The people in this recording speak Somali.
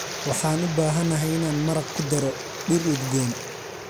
Waxaan u baahanahay inaan maraq ku daro dhir udgoon